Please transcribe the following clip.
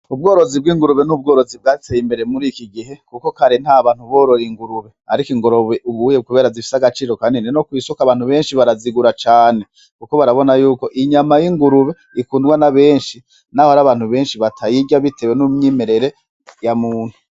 Ubworozi bw'ingurube n'ubworozi bwateye imbere murikigihe kuko kare ntabantu borora ingurube ariko ingurube ubuhuye kubera zifise agaciro kanini nokw'isoko abantu benshi barazigura cane; kuko barabona yuko inyama y'ingurube ikundwa nabenshi naho harabantu benshi batayirya bitewe n'umyimerere yamuntu.